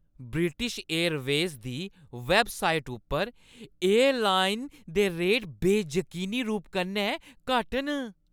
British Airways दी website उप्पर airline दे रेट बेजकीनी रूप कन्नै घट्ट न ।